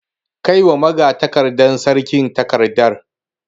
Kai wa magatakardar sarki takardar.